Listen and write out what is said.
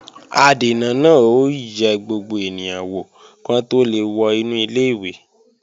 Adènà náà ó yẹ gbogbo ènìyàn wò kí wọ́n tó lè wọ inú ilé-ìwé